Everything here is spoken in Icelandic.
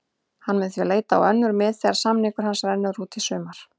Hann mun því leita á önnur mið þegar samningur hans rennur út í sumar.